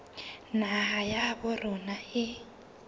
naha ya habo rona e